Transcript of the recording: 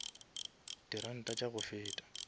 di ranta tša go feta